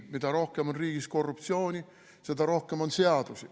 Mida rohkem on riigis korruptsiooni, seda rohkem on seadusi.